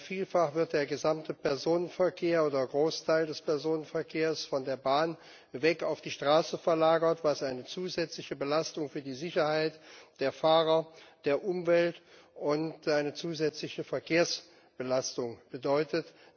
Vielfach wird der gesamte Personenverkehr oder der Großteil des Personenverkehrs von der Bahn weg auf die Straße verlagert, was eine zusätzliche Belastung für die Sicherheit der Fahrer, die Umwelt und eine zusätzliche Verkehrsbelastung bedeutet.